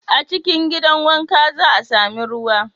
A cikin gidan wanka, za a sami ruwa.